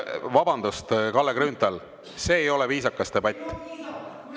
Vabandust, Kalle Grünthal, see ei ole viisakas debatt.